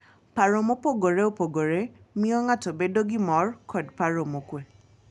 Paro mopogore opogore miyo ng'ato bedo gi mor kod paro mokuwe.